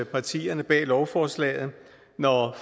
partierne bag lovforslaget når